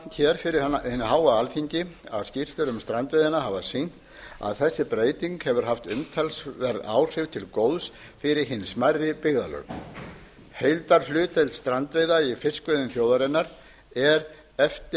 árétta fyrir hinu háa alþingi að skýrslur um strandveiðina hefur sýnt að þessi breyting hefur haft umtalsverð áhrif til góðs fyrir hin smærri byggðarlög heildarhlutdeild strandveiða í fiskveiðum þjóðarinnar er eftir